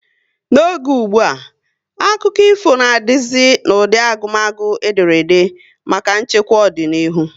N'oge ụgbụa, akụkọ ifo na dizi n'ụdị agumagu ederede maka nchekwa ọdịnihu